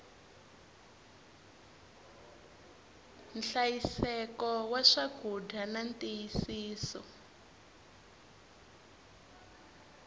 nhlayiseko wa swakudya na ntiyisiso